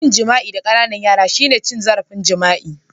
Yin jima'i da Ƙananan yara shine cin zarafin jima'i